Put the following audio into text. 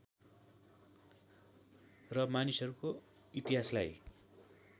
र मानिसहरूको इतिहासलाई